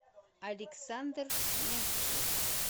александр мякишев